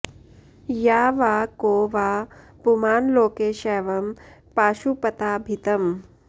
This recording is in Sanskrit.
या वा को वा पुमान् लोके शैवं पाशुपताभितम्